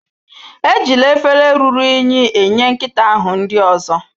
Ejila efere ruru unyi enye nkịta ahụ nri ozo